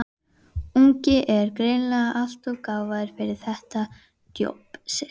ungi er greinilega alltof gáfaður fyrir þetta djobb sitt.